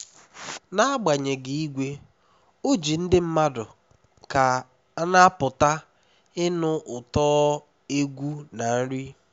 n'agbanyeghị igwe ojii ndị mmadụ ka na-apụta ịnụ ụtọ egwu na nri